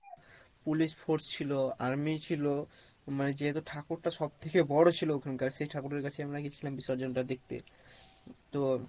police force ছিলো army ছিলো মানে যেহেতু ঠাকুর টা সবথেকে বড় ছিলো ওখানকার সেই ঠাকুরের কাছে আমরা গেছিলাম বিসর্জন টা দেখতে তো